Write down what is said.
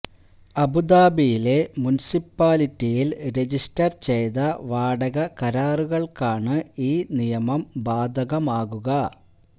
അബുദാബിയിലെ മുനിസിപ്പാലിറ്റിയില് രജിസ്റ്റര് ചെയ്ത വാടക കരാറുകള്ക്കാണ് ഈ നിയമം ബാധകമാകുക